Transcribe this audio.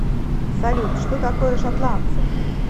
салют что такое шотландцы